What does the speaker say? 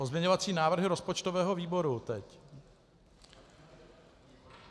Pozměňovací návrhy rozpočtového výboru teď.